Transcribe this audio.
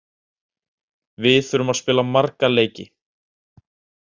Við þurfum að spila marga leiki.